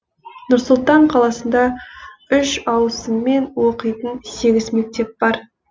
нұр сұлтан қаласында үш ауысыммен оқитын сегіз мектеп бар